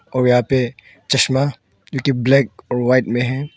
और यहां पे चश्मा जो कि ब्लैक और व्हाइट में है।